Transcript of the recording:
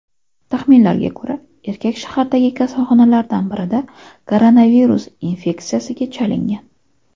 Taxminlarga ko‘ra, erkak shahardagi kasalxonalardan birida koronavirus infeksiyasiga chalingan.